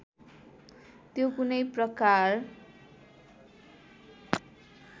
त्यो कुनै प्रकार